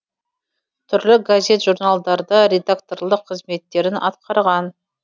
түрлі газет журналдарда редакторлық қызметтерін атқарған